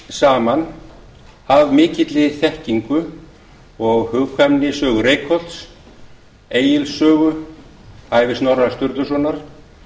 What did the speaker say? saman af mikilli þekkingu og hugkvæmni sögu reykholts egils sögu ævi snorra sturlusonar